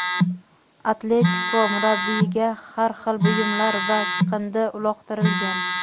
"Atletiko" murabbiyiga har xil buyumlar va chiqindi uloqtirgan.